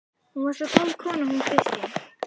Hún var svo góð kona hún Kristín.